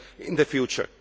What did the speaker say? in the future.